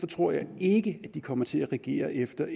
tror jeg ikke at de kommer til at regere efter